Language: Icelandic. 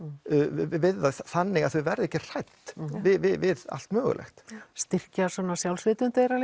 við það þannig að þau verði ekki hrædd við allt mögulegt styrkja sjálfsvitund þeirra